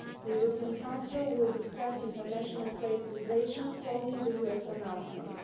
The European Council will discuss international trade relations following the US announcements.